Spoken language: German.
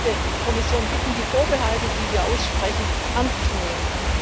Daten. Ich möchte die Kommission bitten, die Vorbehalte, die wir aussprechen, ernst zu